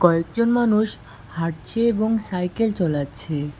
কয়েকজন মানুষ হাঁটছে এবং সাইকেল চলাচ্ছে।